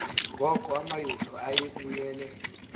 ngoku amayuda ayebuyele